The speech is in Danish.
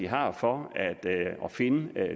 har for at finde